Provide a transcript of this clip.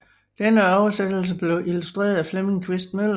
Denne oversættelse blev illustreret af Flemming Quist Møller